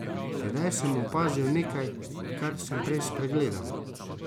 Tedaj sem opazil nekaj, kar sem prej spregledal.